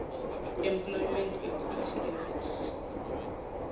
employment equity act